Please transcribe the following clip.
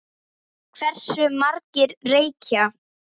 Hversu margir reykja?